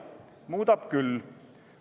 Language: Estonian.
Muudab küll.